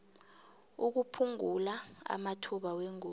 ukuphungula amathuba wengozi